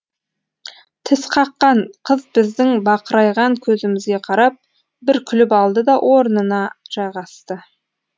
тісқаққан қыз біздің бақырайған көзімізге қарап бір күліп алды да орнына жайғасты